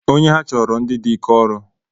Onye ha chọrọ ndị di ike ọrụ